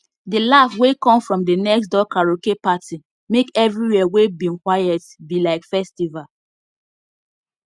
the laugh wey come from the next door karaoke party make everywhere wey bin quiet be like festival